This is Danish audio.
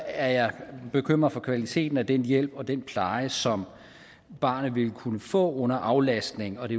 er jeg bekymret for kvaliteten af den hjælp og den pleje som barnet vil kunne få under aflastning og det